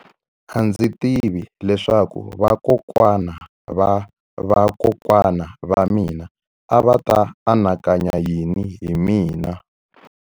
A ndzi tivi leswaku vakokwana-va-vakokwana va mina a va ta anakanya yini hi mina.